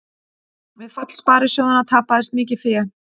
Við fall sparisjóðanna tapaðist mikið fé